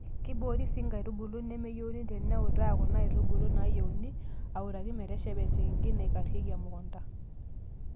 Keiboori sii nkaitubulu nemeyieuni teniutaa Kuna aitubulu naayieuni autaki meteshepa esekenkei nakarriki emukunta.